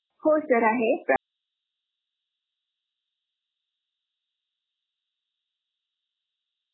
हो सर आहे.